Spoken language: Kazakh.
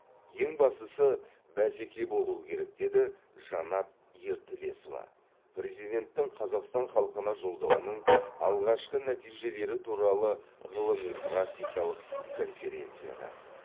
ең бастысы бәсеке болуы керек деді жанат ертілесова президенттің қазақстан халқына жолдауының алғашқы нәтижелері туралы ғылыми практикалық конференцияда